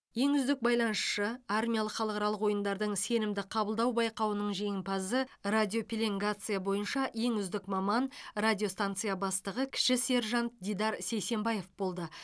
ең үздік байланысшы армиялық халықаралық ойындардың сенімді қабылдау байқауының жеңімпазы радиопеленгация бойынша ең үздік маман радиостанция бастығы кіші сержант дидар сейсенбаев болды